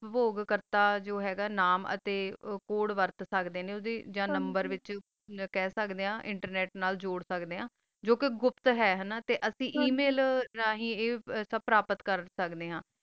ਜੋ ਹ ਗਾ ਆ ਨਾਮ ਤਾ ਨੰਬਰ ਕੋੜੇ ਵਰਤ ਸਕਦਾ ਆ ਨੰਬਰ ਵਿਤਚ ਖਾ ਸਕਦਾ ਆ internet ਨਾਲ ਜੋਰ ਸਕਦਾ ਆ ਜੋ ਕਾ ਗੁਪਤ ਹ ਤਾ email ਏਮਿਲ ਨਾ ਹੀ ਸੁਬ ਪਰਬਤ ਕਰ ਸਕਦਾ ਆ